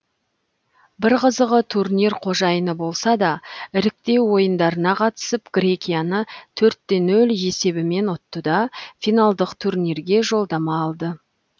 бір қызығы турнир қожайыны болса да іріктеу ойындарына қатысып грекияны төртте нөл есебімен ұтты да финалдық турнирге жолдама алды